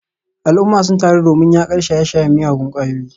Al’umma sun taru domin yakar shaye-shayen miyagun kwayoyi.